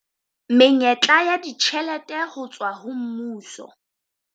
Menyetla ya ditjhelete ho tswa ho mmuso